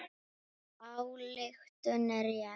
Sú ályktun er rétt.